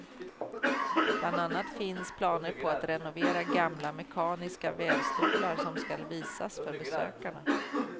Bland annat finns planer på att renovera gamla mekaniska vävstolar som skall visas för besökarna.